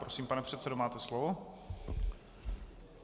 Prosím, pane předsedo, máte slovo.